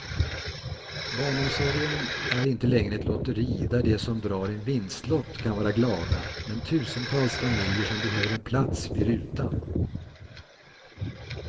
Barnomsorgen är inte längre ett lotteri där de som drar en vinstlott kan vara glada men tusentals familjer som behöver en plats blir utan.